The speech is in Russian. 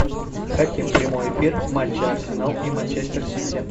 хотим прямой эфир матча арсенал и манчестер сити